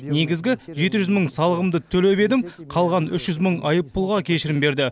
негізгі жеті жүз мың салығымды төлеп едім қалған үш жүз мың айыппұлға кешірім берді